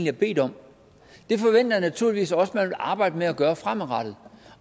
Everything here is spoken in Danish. har bedt om det forventer jeg naturligvis også at man arbejder med at gøre fremadrettet